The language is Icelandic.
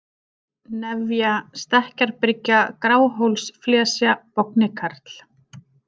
Nefja, Stekkjarbryggja, Gráhólsflesja, Bognikarl